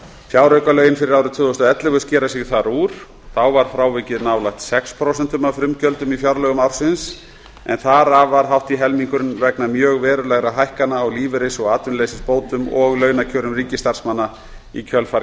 fjáraukalögin fyrir árið tvö þúsund og ellefu skera sig þar úr þá var frávikið nálægt sex prósent af frumgjöldum í fjárlögum ársins en þar af var hátt í helmingurinn vegna mjög verulegra hækkana á lífeyris og atvinnuleysisbótum og launakjörum ríkisstarfsmanna í kjölfar